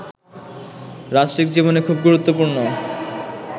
রাষ্ট্রিক জীবনে খুব গুরুত্বপূর্ণ